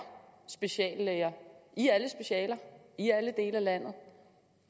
speciallæger i alle specialer i alle dele af landet